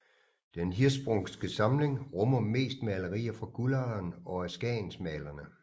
Den Hirschsprungske samling rummer mest malerier fra Guldalderen og af skagensmalerne